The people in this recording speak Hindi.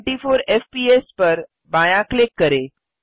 24 एफपीएस पर बायाँ क्लिक करें